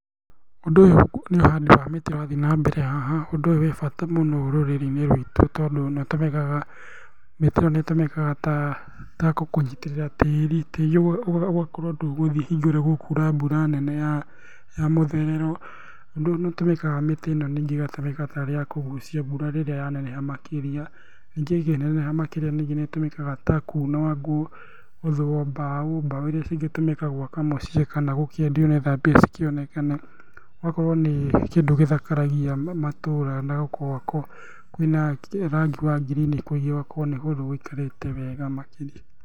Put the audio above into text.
Ũndũ ũyũ nĩ ũhandi wa mĩtĩ ũrathiĩ na mbere haha. Ũndũ ũyũ wĩ bata mũno rũrĩrĩ-inĩ rwitũ tondũ nĩ ũtũmĩkaga, mĩtĩ ĩno nĩ ĩtũmĩkaga ta kũnyitĩrĩra tĩri, tĩri ũka , ũgakorwo ndũgũthiĩ hingo ĩrĩa gũkura mbura nene ya mũtherero. Nĩũtũmĩka mĩtĩ ĩno ningĩ ĩgatũmĩka tarĩ ya kũgucia mbura rĩrĩa yaneneha makĩria, ningĩ ĩngĩneneha makĩria ningĩ nĩ ĩtũmĩkaga ta kuunwo ngũ, gũthũo mbaũ, mbaũ iria cingĩtũmĩka gwaka mũciĩ kana gũkĩendio nĩgetha mbia cikĩonekane. Gũgakorwo nĩ kĩndũ gĩthakaragia matũra na gukorwo kwĩna rangi wa ngirini na gũgakorwo nĩ kũndũ gũikarĩte wega makĩria.